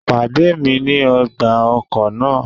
Pade mi ni ọgba-ọkọ naa!